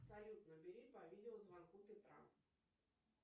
салют набери по видеозвонку петра